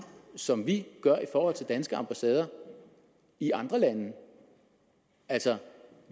som vi gør i forhold til danske ambassader i andre lande altså